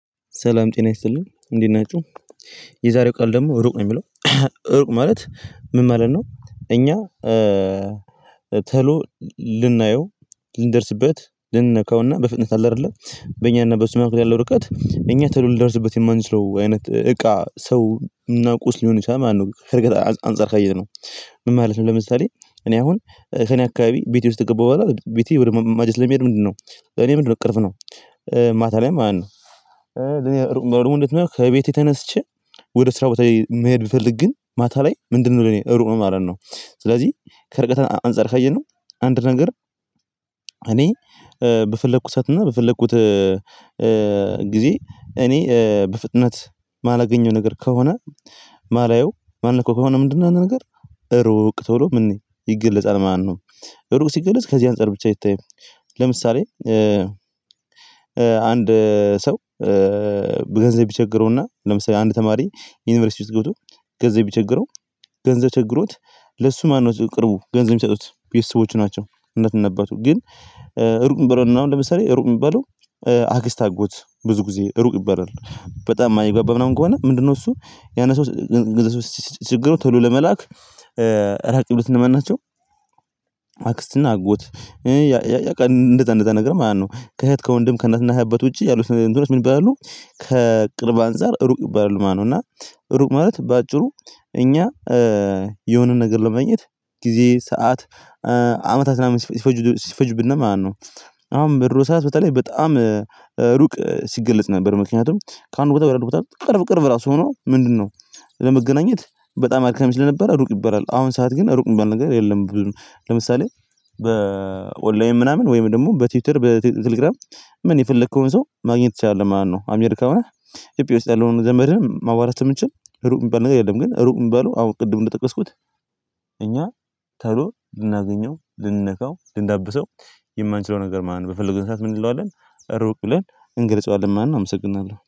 ሰላም ጤና ይስጥልኝ እንዴት ናቹ የዛሬው ቃል ደግሞ ሩቅ ነው የሚለው። ሩቅ ማለት ምን ማለት ነው? እኛ። ቶሎ ልናየው ልንደርስበት ልንነካውና በፍጥነት አለ አይደለ በእኛና በሱ መካከል ያለው ርቀት እኛ ቶሎ ልደርስበት የማንችለው አይነት እቃ ሰው እና ቁስ ሊሆን ይችላል ማለት ነው። ክነገር አንፃር ካየነው ምን ማለት ነው? ለምሳሌ እኔ አሁን ከእኔ አካባቢ ቤቴ ውስጥ ከገባሁ በኋላ ቤቴ ወደ መማጀት ለመሄድ ምንድነው እኔ ምንድነው ቅርብ ነው። ማታ ላይም ማለት ነው እኔ በወርሙነት ነው። ከቤቴ ተነስቸ ወደ ስራ ቦታ መሄድ ብፈልግ ግን ማታ ላይ ምንድነው ለኔ እሩቅ ነው ማለት ነው። ስለዚህ ከርቀት አንፃር ከየነው አንድ ነገር እኔ በፈለኩት ሰዓትና በፈለኩት ጊዜ እኔ በፍጥነት የማላገኘው ነገር ከሆነ የማላየው ማን እኮ ከሆነ ምንድነው ያንን ነገር ሩቅ ቶሎ ምን ይገለጻል ማለት ነው። ሩቅ ሲገለጽ ከዚህ አንፃር ብቻ አይታይም። ለምሳሌ አንድ ሰው በገንዘብ ይቸገረውና ለምሳሌ አንድ ተማሪ ዩኒቨርሲቲ ውስጥ ገብቶ ገንዘብ ብቸገረው ገንዘብ ችግሮት ለሱ ማነው ቅርቡ ገንዘብ የሚሰጡት ቤተሰቦቹ ናቸው። እናት እና አባቱ ግን እሩቅ የሚባለው እና አሁን ለምሳሌ እሩቅ የሚባለው አክስት አጎት ብዙ ጊዜ ሩቅ ይበራል በጣም የማይገባባ ምናምን ከሆነ ምንድነው እሱ ያን ሰው ስትችግሩ ቶሎ ለመላክ ራቅ ብሎት እነማን ናቸው? አክስትና አጎት እንደዛ እንደዛ ነገር ማለት ነው። ከእህት ከወንድም ከእናትና እህት ውጪ ያሉት እንትኖች ምን ይባላሉ? ከቅርብ አንፃር ሩቅ ይባላል ማለት ነው። እና ሩቅ ማለት በአጭሩ እኛ የሆነ ነገር ለማኘት ጊዜ ሰዓት አመታትን ሲፈጅ ሲፈጅብን ማለት ነው። አሁን በድሮ ሰዓት በተለይ በጣም ሩቅ ሲገለጽ ነበር ምክንያቱም ከአንድ ቦታ ወደ ለላ ቦታ ቅርብ ቅርብ ራሱ ሆኖ ምንድነው ለመገናኘት በጣም አድካሚ ለነበረ ሩቅ ይባላል። አሁን ሰዓት ግን ሩቅ የሚባል ነገር የለም። ለምሳሌ በኦላይን ምናምን ወይም ደግሞ በትዊትር በቴሌግራም ምን የፈለከውን ሰው ማግኘት ትችላለህ ማለት ነው። አሜሪካ ሆነህ ኢትዮጵያ ውስጥ ያለውን ዘመድ ማዋራት ስለሚንችል ሩቅ የሚባል ነገር የለም። ግን ሩቅ የሚባለው አሁን ቅድም እንደጠቀስኩት እኛ ተሎ ልናገኘው ልንነካው ልንዳብሰው የማንችለው ነገር ማለት ነው። በፈለጉን ሰዓት ምን እንለዋለን ሩቅ ብለን እንገልጸዋለን ማለት ነው። አመሰግናለሁ